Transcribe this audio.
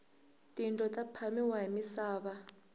tindlo ta phamiwa hi misava